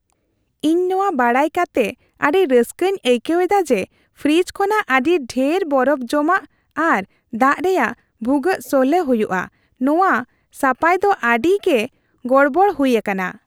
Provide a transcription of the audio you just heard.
ᱤᱧ ᱱᱚᱣᱟ ᱵᱟᱰᱟᱭ ᱠᱟᱛᱮᱜ ᱟᱹᱰᱤ ᱨᱟᱹᱥᱠᱟᱹᱧ ᱟᱹᱭᱠᱟᱹᱣ ᱮᱫᱟ ᱡᱮ ᱯᱷᱨᱤᱡᱽ ᱠᱷᱚᱱᱟᱜ ᱟᱹᱰᱤ ᱰᱷᱮᱨ ᱵᱚᱨᱚᱯᱷ ᱡᱚᱢᱟᱜ ᱟᱨ ᱫᱟᱜ ᱨᱮᱭᱟᱜ ᱵᱷᱩᱜᱟᱹᱜ ᱥᱚᱞᱦᱮ ᱦᱩᱭᱩᱜᱼᱟ ᱼᱱᱚᱶᱟ ᱥᱟᱯᱟᱭ ᱫᱚ ᱟᱹᱰᱤᱜᱮ ᱜᱚᱲᱵᱚᱲ ᱦᱩᱭ ᱟᱠᱟᱱᱟ ᱾